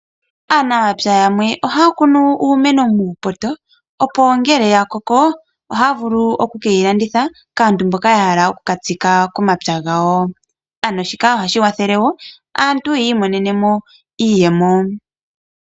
Aanamapya yamwe ohaya kunu uumeno muupoto, opo ngele ya koko ohaya vulu oku ke yi landitha kaantu mboka ya hala oku ka tsika momapya gawo. Shika ohashi kwathele wo aantu yi imonene mo iiyemo.